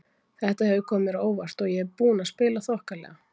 Þetta hefur komið mér á óvart og ég er búinn að spila þokkalega.